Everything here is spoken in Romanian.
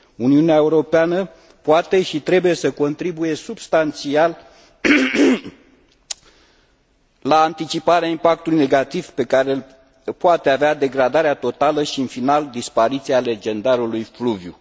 Uniunea Europeană poate și trebuie să contribuie substanțial la anticiparea impactului negativ pe care l poate avea degradarea totală și, în final, dispariția legendarului fluviu.